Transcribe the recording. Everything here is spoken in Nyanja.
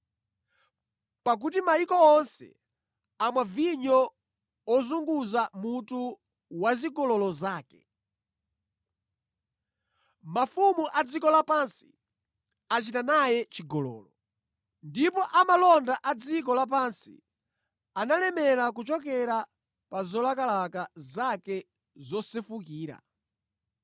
Pakuti mayiko onse amwa vinyo ozunguza mutu wazigololo zake. Mafumu a dziko lapansi achita naye chigololo, ndipo amalonda a dziko lapansi analemera kuchokera pa zolakalaka zake zosefukira.”